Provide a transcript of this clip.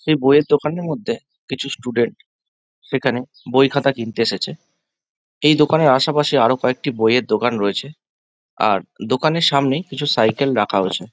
সেই বইয়ের মধ্যে কিছু স্টুডেন্ট সেখানে বই খাতা কিনতে এসেছে এই দোকানের আশে পাশে আরো কয়েকটি বইয়ের দোকান রয়েছে আর দোকানের সামনে কিছু সাইকেল রাখা হয়েছে।